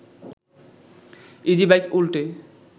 easy bike উল্টে